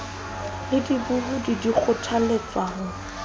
le dibohodi di kgothaletswa ho